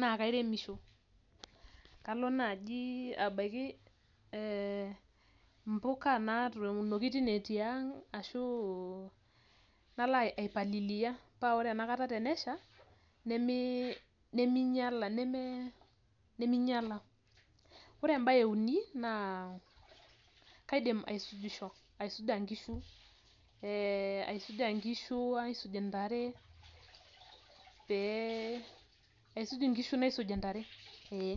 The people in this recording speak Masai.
naa kairemisho kalo naaji abaiki mbika natuunoki teine oji tiang' ashuu nalo aipaliliya metaa ore enakata tenesha, nemeinyiala. Ore embae euni naa kaidim aisujisho aisuja inkishu, naisuj intare pee aisuj inkishu naisuj intare ee.